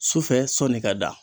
Sufɛ sɔni ka da.